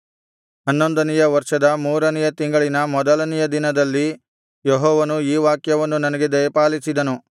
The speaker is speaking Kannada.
ಹನ್ನೊಂದನೆಯ ವರ್ಷದ ಮೂರನೆಯ ತಿಂಗಳಿನ ಮೊದಲನೆಯ ದಿನದಲ್ಲಿ ಯೆಹೋವನು ಈ ವಾಕ್ಯವನ್ನು ನನಗೆ ದಯಪಾಲಿಸಿದನು